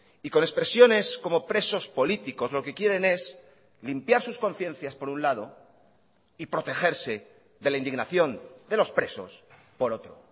y con expresiones como presos políticos lo que quieren es limpiar sus conciencias por un lado y protegerse de la indignación de los presos por otro